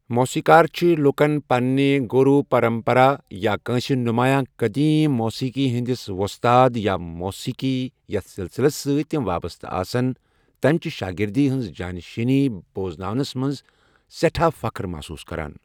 موسیقار چھِ لوٗكن پنٕٛنہِ گوروٗ پرمپرا یا كٲنٛسہِ نمایاں قدیم موسیقی ہندِس ووستاد یا موسیقار یتھ سِلسِلس سۭتۍ تِم وابسطہٕ آسن، تمِہ چہ شاہگردی ہنٛز جاں نشینی بوزنانس منز سٮ۪ٹھاہ فخٕر محصوص كران ۔